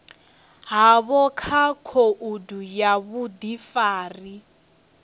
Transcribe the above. havho kha khoudu ya vhudifari